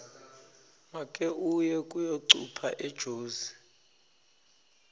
make uye kuyocupha ejozi